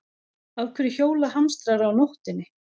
Af hverju hjóla hamstrar á nóttinni?